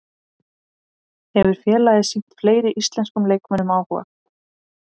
Hefur félagið sýnt fleiri íslenskum leikmönnum áhuga?